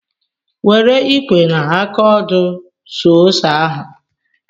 Were ikwe na aka ọdụ suo ose ahụ!